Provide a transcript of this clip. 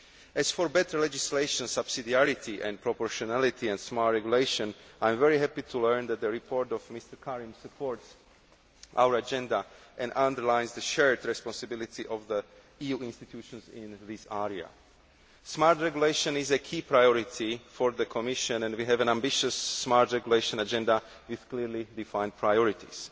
As for better legislation, subsidiarity and proportionality, and smart regulation, I am very happy to learn that Mr Karim's report supports our agenda and underlines the shared responsibility of the EU institutions in this area. Smart regulation is a key priority for the Commission and we have an ambitious smart regulation agenda with clearly defined priorities.